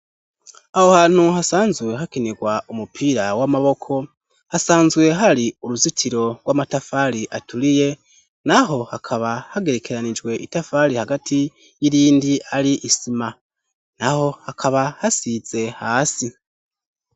Aho hantu hasanzwe hakinirwa umupira w'amaboko hasanzwe hari uruzitiro rw'amatafari aturiye naho hakaba hagerekeranijwe itafari hagati y'irindi ari isima naho hakaba hasize hasi.